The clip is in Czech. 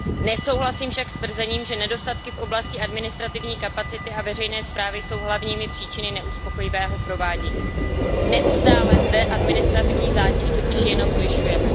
Nesouhlasím však s tvrzením, že nedostatky v oblasti administrativní kapacity a veřejné správy jsou hlavními příčinami neuspokojivého provádění. Neustále zde administrativní zátěž totiž jenom zvyšujeme.